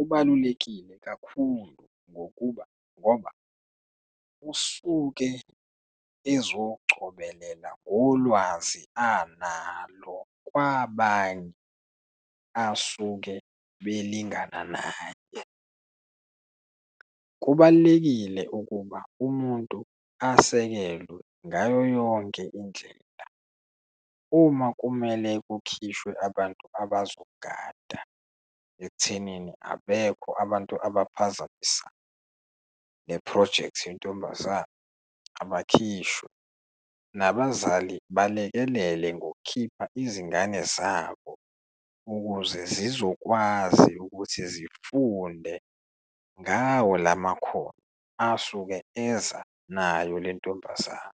ubalulekile kakhulu, ngokuba ngoba usuke ezocobelela ngolwazi analo kwabanye asuke belingana naye. Kubalulekile ukuba umuntu asekelwe ngayo yonke indlela uma kumele kukhishwe abantu abazogada ekuthenini abekho abantu abaphazamisa le phrojekthi yentombazana, abakhishwe, nabazali balekelele ngokukhipha izingane zabo ukuze zizokwazi ukuthi zifunde ngawo lamakhono asuke eza nayo lentombazane.